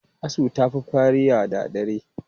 Asu ta fi firiya da dare.